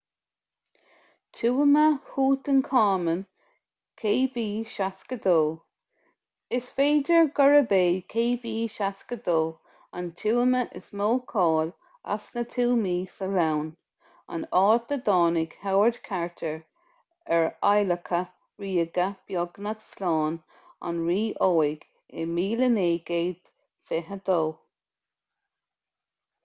tuama thútancáman kv62. is féidir gurb é kv62 an tuama is mó cáil as na tuamaí sa ghleann an áit a dtáinig howard carter ar adhlacadh ríoga beagnach slán an rí óig i 1922